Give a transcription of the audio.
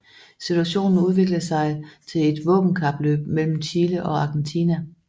Situationen udviklede sig til et våbenkapløb mellem Chile og Argentina